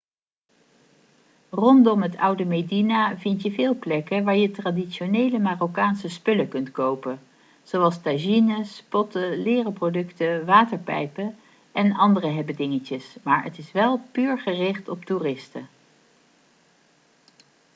rondom het oude medina vind je veel plekken waar je traditionele marokkaanse spullen kunt kopen zoals tagines potten leren producten waterpijpen en andere hebbedingetjes maar het is wel puur gericht op toeristen